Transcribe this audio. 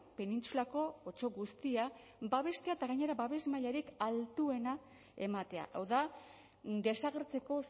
penintsulako otso guztia babestea eta gainera babes mailarik altuena ematea hau da desagertzeko